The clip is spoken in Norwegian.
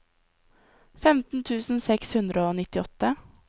femten tusen seks hundre og nittiåtte